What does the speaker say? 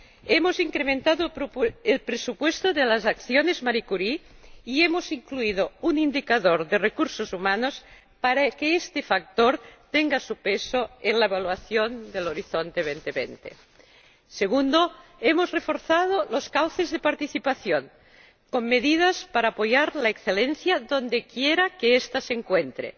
Hemos incrementado el presupuesto de las acciones Marie Curie y hemos incluido un indicador de recursos humanos para que este factor tenga su peso en la evaluación de Horizonte 2020. En segundo lugar, hemos reforzado los cauces de participación, con medidas para apoyar la excelencia donde quiera que esta se encuentre.